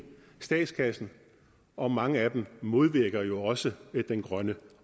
statskassen og mange af dem modvirker jo også den grønne